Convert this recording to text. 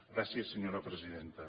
gràcies senyora presidenta